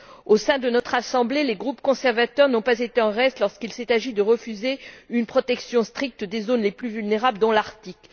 Au sein de notre Assemblée, les groupes conservateurs n'ont pas été en reste, lorsqu'il s'est agi de refuser une protection stricte des zones les plus vulnérables dans l'Arctique.